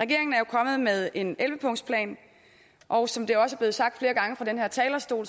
regeringen er jo kommet med en elleve punktsplan og som det også er blevet sagt flere gange fra den her talerstol